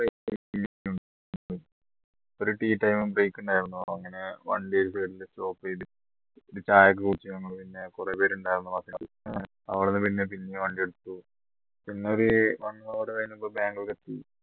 ഒരു tea time break ഉണ്ടായിരുന്നു അങ്ങനെ stop ചെയ്തു എന്നിട്ട് ചായയൊക്കെ കുടിച്ച് നമ്മള് പിന്നെ കുറെ പേരുണ്ടായിരുന്നു പിന്നെ അവിടുന്ന് പിന്നെയും വണ്ടിയെടുത്തു പിന്നെ ഒരു one hour കഴിഞ്ഞപ്പോൾ ബാംഗ്ലൂർ എത്തി